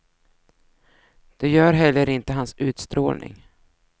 Det gör heller inte hans utstrålning.